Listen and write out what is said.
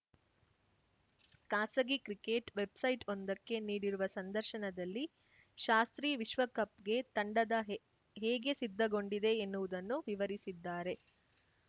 ಖಾಸಗಿ ಕ್ರಿಕೆಟ್‌ ವೆಬ್‌ಸೈಟ್‌ವೊಂದಕ್ಕೆ ನೀಡಿರುವ ಸಂದರ್ಶನದಲ್ಲಿ ಶಾಸ್ತ್ರಿ ವಿಶ್ವಕಪ್‌ಗೆ ತಂಡದ ಹೇಗೆ ಸಿದ್ಧಗೊಂಡಿದೆ ಎನ್ನುವುದನ್ನು ವಿವರಿಸಿದ್ದಾರೆ